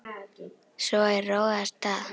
Svo er róið af stað.